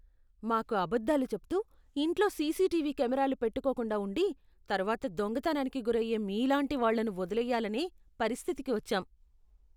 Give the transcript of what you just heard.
మాకు అబద్ధాలు చెప్తూ, ఇంట్లో సీసీటీవీ కెమెరాలు పెట్టుకోకుండా ఉండి, తర్వాత దొంగతనానికి గురయ్యే మీలాంటి వాళ్లను వదిలేయ్యాలనే పరిస్థితికి వచ్చాం.